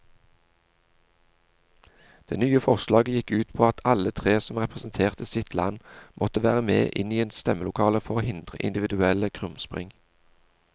Det nye forslaget gikk ut på at alle tre som representerte sitt land måtte være med inn i stemmelokalet for å hindre individuelle krumspring.